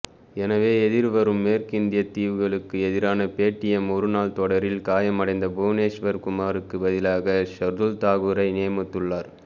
எனவே எதிர்வரும் மேற்கிந்தியத் தீவுகளுக்கு எதிரான பேடிஎம் ஒருநாள் தொடரில் காயமடைந்த புவனேஷ்வர் குமாருக்கு பதிலாக ஷர்துல் தாக்கூரை நியமித்துள்ளார்